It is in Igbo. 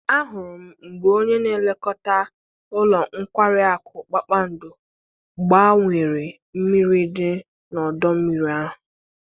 Ahụrụ m mgbe onye na-elekọta ụlọ nkwari akụ kpakpando gbanwere mmiri dị n'ọdọ mmiri ahụ.